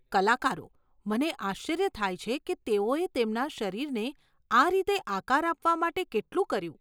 કલાકારો, મને આશ્ચર્ય થાય છે કે તેઓએ તેમના શરીરને આ રીતે આકાર આપવા માટે કેટલું કર્યું.